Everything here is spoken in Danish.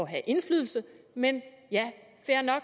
have indflydelse men